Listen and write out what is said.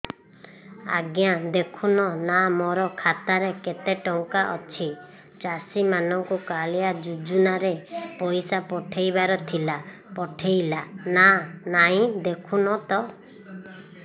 ଆଜ୍ଞା ଦେଖୁନ ନା ମୋର ଖାତାରେ କେତେ ଟଙ୍କା ଅଛି ଚାଷୀ ମାନଙ୍କୁ କାଳିଆ ଯୁଜୁନା ରେ ପଇସା ପଠେଇବାର ଥିଲା ପଠେଇଲା ନା ନାଇଁ ଦେଖୁନ ତ